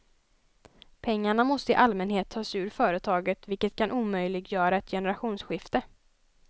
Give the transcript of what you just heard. Pengarna måste i allmänhet tas ur företaget vilket kan omöjliggöra ett generationsskifte.